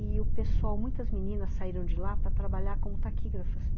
E o pessoal, muitas meninas saíram de lá para trabalhar como taquígrafas.